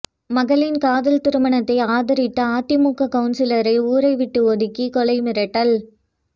மகளின் காதல் திருமணத்தை ஆதரித்த அதிமுக கவுன்சிலரை ஊரைவிட்டு ஒதுக்கி கொலை மிரட்டல்